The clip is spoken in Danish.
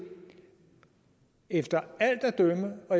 efter alt at dømme og